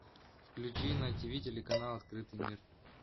включи на тиви телеканал открытый мир